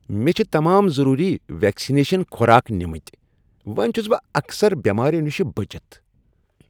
مےٚ چھ تمام ضروری ویکسنیشن خوراك نمتۍ ۔ وۄنۍ چھٗس بہٕ اکثر بیماریو نشہِ بچِتھ ۔